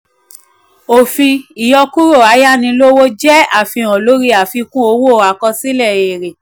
òfin: ìyọkúrò ayánilówó ìyọkúrò ayánilówó jẹ́ àfihàn lóri àfikún owó àkọsílẹ̀ èrè.